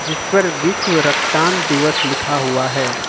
जिस पर विश्व रक्तदान दिवस लिखा हुआ है।